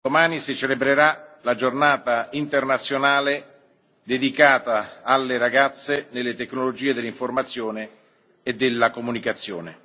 Cari colleghi, domani si celebrerà la Giornata internazionale delle ragazze nelle tecnologie dell'informazione e della comunicazione.